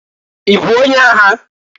I bụ onye agha?